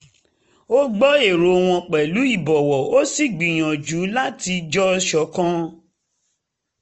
ó gbọ́ èrò wọn pẹ̀lú ìbọ̀wọ̀ ó sì gbìyànjú láti jọ ṣọ̀kan